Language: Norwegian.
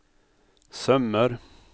sømmer